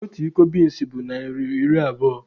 Otu iko binsi bụ naịra iri abụo